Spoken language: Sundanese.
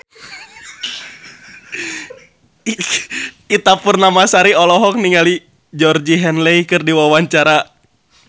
Ita Purnamasari olohok ningali Georgie Henley keur diwawancara